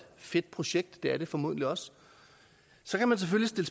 fedt projekt det er det formodentlig også så kan man selvfølgelig